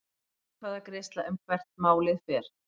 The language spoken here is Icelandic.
Atkvæðagreiðsla um hvert málið fer